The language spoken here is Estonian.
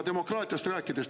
Demokraatiast rääkides.